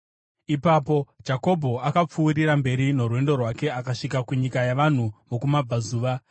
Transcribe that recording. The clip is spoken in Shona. Ipapo Jakobho akapfuurira mberi norwendo rwake akasvika kunyika yavanhu vokumabvazuva.